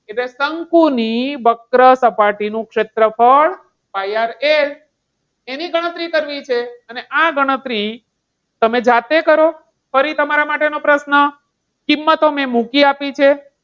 એટલે શંકુની વક્ર સપાટી નું ક્ષેત્રફળ pi RL એની ગણતરી કરવી છે અને આ ગણતરી તમે જાતે કરો અને ફરી તમારા માટે નો પ્રશ્ન કિંમતો મેં મૂકી આપી છે.